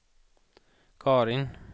Carin